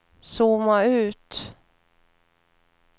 zooma ut